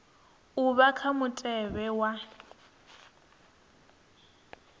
a vha kha mutevhe wa